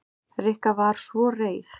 Rikka var svo reið.